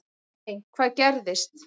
Nei, hvað gerðist?